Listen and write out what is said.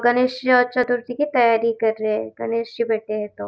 गणेश चतुर्थी की तयारी कर रहे हैं गणेश जी बैठे हैं तो।